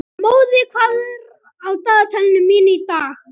Móði, hvað er á dagatalinu mínu í dag?